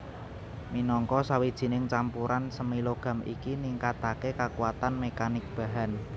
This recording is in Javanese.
Minangka sawijining campuran semi logam iki ningkataké kakuatan mekanik bahan